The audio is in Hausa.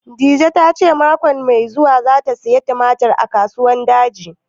Dije ta ce mako mai zuwa za ta saya tumatir a Kasuwan Daji